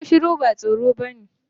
Shuru shuru ba tsoro bane.